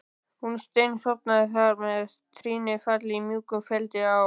Hún steinsofnaði þarna með trýnið falið í mjúkum feldinum á